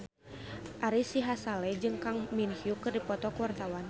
Ari Sihasale jeung Kang Min Hyuk keur dipoto ku wartawan